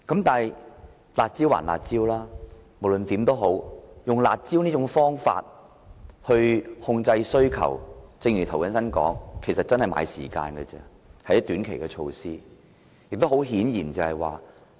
但是，"辣招"歸"辣招"，以"辣招"來控制需求，正如涂謹申議員所說，其實只是在買時間，只是短期措施。